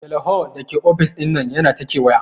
Teleho Dake ofis dinnan yana ta kewaya.